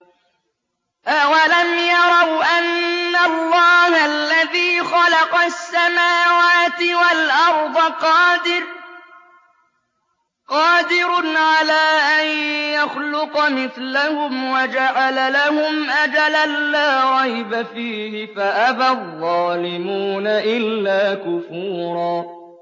۞ أَوَلَمْ يَرَوْا أَنَّ اللَّهَ الَّذِي خَلَقَ السَّمَاوَاتِ وَالْأَرْضَ قَادِرٌ عَلَىٰ أَن يَخْلُقَ مِثْلَهُمْ وَجَعَلَ لَهُمْ أَجَلًا لَّا رَيْبَ فِيهِ فَأَبَى الظَّالِمُونَ إِلَّا كُفُورًا